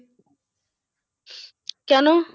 কেন?